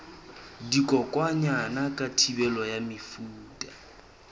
dikokwanyana ka thibelo ya mefuta